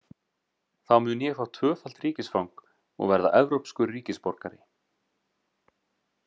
Þá mun ég fá tvöfalt ríkisfang og verða evrópskur ríkisborgari.